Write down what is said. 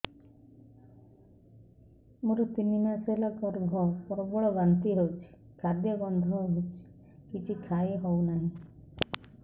ମୋର ତିନି ମାସ ହେଲା ଗର୍ଭ ପ୍ରବଳ ବାନ୍ତି ହଉଚି ଖାଦ୍ୟ ଗନ୍ଧ ହଉଚି କିଛି ଖାଇ ହଉନାହିଁ